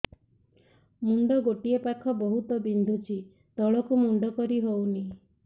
ମୁଣ୍ଡ ଗୋଟିଏ ପାଖ ବହୁତୁ ବିନ୍ଧୁଛି ତଳକୁ ମୁଣ୍ଡ କରି ହଉନି